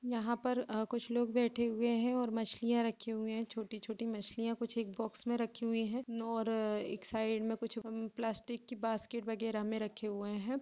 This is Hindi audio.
यहाँ पर अ-- कुछ लोग बैठे हुए हैंऔर मछलियाँ रखे हुए हैं छोटी-छोटी मछलियाँ कुछ एक बॉक्स में रखी हुई है नो और एक साइड में कुछ प्लास्टिक की बास्केट वगैरह में रखे हुए हैं।